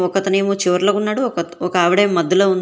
ఒకతనేమో చివర్లో ఉన్నాడు ఒకత ఒకావిడెమో మధ్యలో ఉంద్--